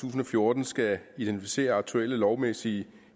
tusind og fjorten skal identificere aktuelle lovmæssige